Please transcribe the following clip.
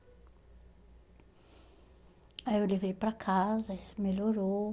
Aí eu levei para casa, ele melhorou.